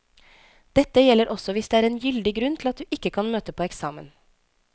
Dette gjelder også hvis det er en gyldig grunn til at du ikke kan møte på eksamen.